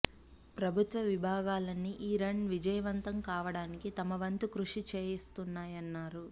ప్రభుత్వ విభాగాలన్నీ ఈ రన్ విజయవంతం కావడానికి తమ వంతు కృషి చేస్తున్నాయన్నారు